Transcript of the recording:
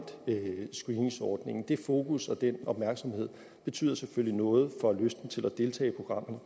screeningsordningen det fokus og den opmærksomhed betyder selvfølgelig noget for lysten til at deltage i programmet